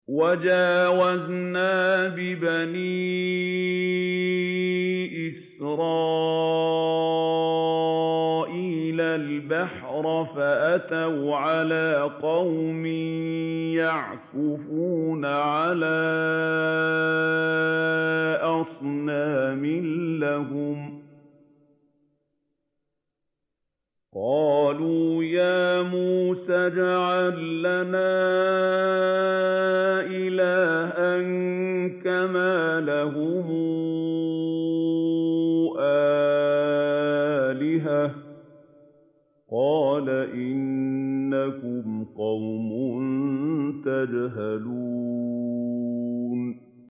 وَجَاوَزْنَا بِبَنِي إِسْرَائِيلَ الْبَحْرَ فَأَتَوْا عَلَىٰ قَوْمٍ يَعْكُفُونَ عَلَىٰ أَصْنَامٍ لَّهُمْ ۚ قَالُوا يَا مُوسَى اجْعَل لَّنَا إِلَٰهًا كَمَا لَهُمْ آلِهَةٌ ۚ قَالَ إِنَّكُمْ قَوْمٌ تَجْهَلُونَ